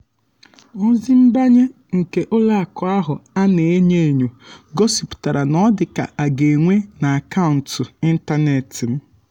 ozi nbanye nke ụlọ akụ ahụ ana-enyo enyo gosipụtara na ọ dịka aga enwe n'akaụntụ ịntanetị m.